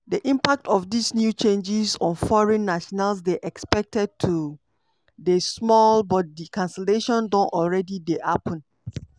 di impact of dis new changes on foreign nationals dey expected to dey small but di cancellation don alreadi dey happun.